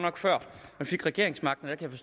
jeg vil